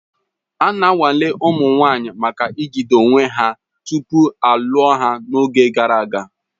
Ana nwale ụmụ nwanyị maka jide onwe ha tupu a lụọ ha n'oge gara aga